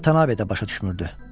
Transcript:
Vatanabe də başa düşmürdü.